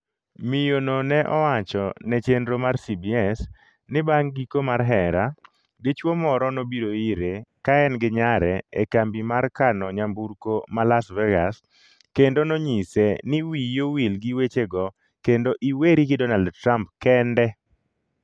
Miyo no ne owacho ne chenro mar CBS ni bang' giko mar hera, dichwo moro nobiro ire ka en gi nyare e kambi mar kano nyamburko ma Las Vegas kendo nonyise ni 'wiyi owil gi wechego kendo iweri gi Donald Trump kende'